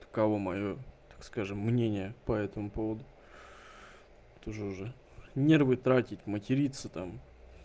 таково моё так скажем мнение по этому поводу тоже уже нервы тратить материться там